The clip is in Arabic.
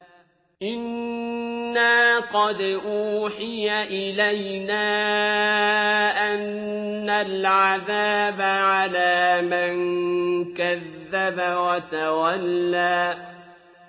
إِنَّا قَدْ أُوحِيَ إِلَيْنَا أَنَّ الْعَذَابَ عَلَىٰ مَن كَذَّبَ وَتَوَلَّىٰ